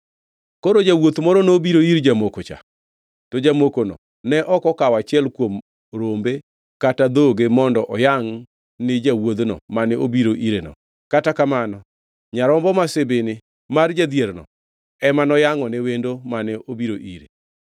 “Koro jawuoth moro nobiro ir jamoko-cha, to jamokono ne ok okawo achiel kuom rombe kata dhoge mondo oyangʼ ni jawuodhno mane obiro ireno. Kata kamano, nyarombo ma sibini mar jadhierno ema noyangʼone wendo mane obiro ire.”